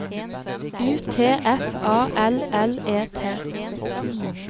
U T F A L L E T